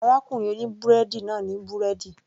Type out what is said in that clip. Arákùnrin oní búrẹ́dì náà ní búrẹ́dì